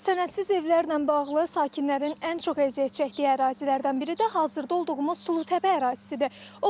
Sənədsiz evlərlə bağlı sakinlərin ən çox əziyyət çəkdiyi ərazilərdən biri də hazırda olduğumuz Sulutəpə ərazisidir.